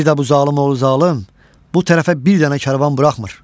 Bir də bu zalım oğlu zalım bu tərəfə bir dənə karvan buraxmır.